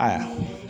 Ayiwa